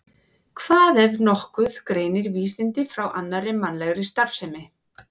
Hvað, ef nokkuð, greinir vísindi frá annarri mannlegri starfsemi?